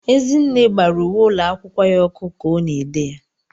Ezinne gbara uwe ụlọ akwụkwọ ya ọkụ ka ọ na-ede ya.